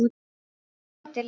snökti Lilla.